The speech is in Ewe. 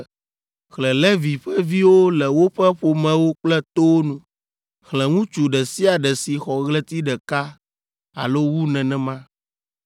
“Xlẽ Levi ƒe viwo le woƒe ƒomewo kple towo nu. Xlẽ ŋutsu ɖe sia ɖe si xɔ ɣleti ɖeka alo wu nenema.”